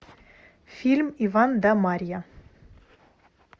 фильм иван да марья